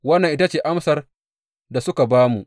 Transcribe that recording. Wannan ita ce amsar da suka ba mu.